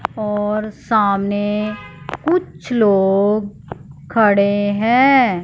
और सामने कुछ लोग खड़े हैं।